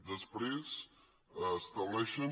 després estableixen